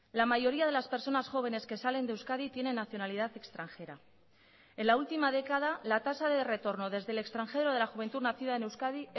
la mayoría de las personas jóvenes que salen de euskadi tienen nacionalidad extranjera en la última década la tasa de retorno desde el extranjero de la juventud nacida en euskadi